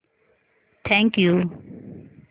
thank you